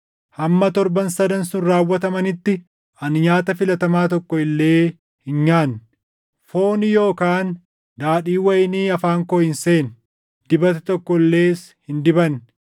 Hamma torban sadan sun raawwatamanitti ani nyaata filatamaa tokko illee hin nyaanne; fooni yookaan daadhiin wayinii afaan koo hin seenne; dibata tokko illees hin dibanne.